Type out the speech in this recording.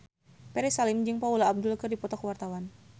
Ferry Salim jeung Paula Abdul keur dipoto ku wartawan